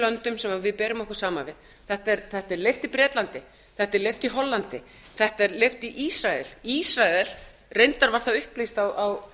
löndum sem við berum okkur saman við þetta er leyft í bretlandi þetta er leyft í hollandi þetta er leyft í ísrael reyndar var það upplýst á